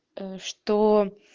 что